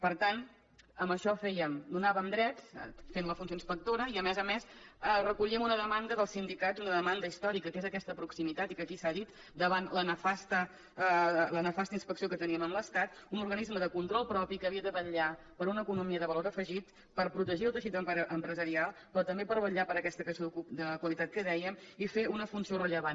per tant amb això donàvem drets fent la funció inspectora i a més a més recollíem una demanda dels sindicats una demanda històrica que és aquesta proximitat i que aquí s’ha dit davant la nefasta inspecció que teníem amb l’estat un organisme de control propi que havia de vetllar per una economia de valor afegit per protegir el teixit empresarial però també per vetllar per aquesta creació de qualitat que dèiem i fer una funció rellevant